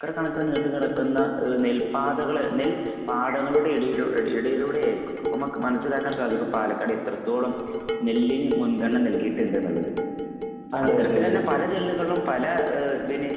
Acre കണക്കിന് നീണ്ട് കിടക്കുന്ന ഏഹ് നെൽപാതുകൾ നെല്പാടങ്ങളുടെ ഇടയിലൂടെ ഇടയിലൂടെയായിരിക്കും. അപ്പോൾ നമുക്ക് മനസ്സിലാക്കാൻ സാധിക്കും പാലക്കാട് എത്രത്തോളം നെല്ലിന് മുൻഗണന നല്കിയിട്ടുണ്ടെന്നുള്ളത്. അത്തരത്തിലുള്ള പല നെല്ലുകളും പല ഏഹ് ഇതിന്